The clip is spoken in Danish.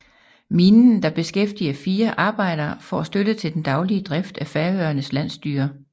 Minen der beskæftiger 4 arbejdere får støtte til den daglige drift af Færøernes landsstyre